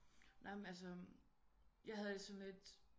Nej men altså jeg havde det sådan lidt